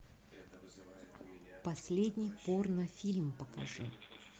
последний порнофильм покажи